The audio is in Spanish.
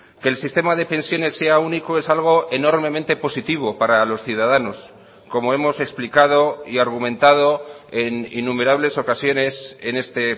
que el sistema de pensiones sea único es algo enormemente positivo para los ciudadanos como hemos explicado y argumentado en innumerables ocasiones en este